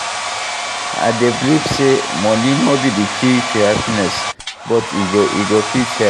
I dey believe say money no be di key to happiness, but e go fit help.